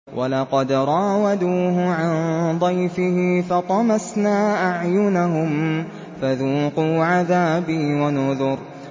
وَلَقَدْ رَاوَدُوهُ عَن ضَيْفِهِ فَطَمَسْنَا أَعْيُنَهُمْ فَذُوقُوا عَذَابِي وَنُذُرِ